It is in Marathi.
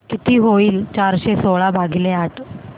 किती होईल चारशे सोळा भागीले आठ